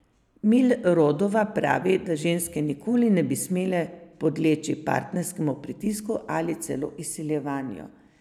Milrodova pravi, da ženske nikoli ne bi smele podleči partnerjevemu pritisku ali celo izsiljevanju.